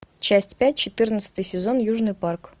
часть пять четырнадцатый сезон южный парк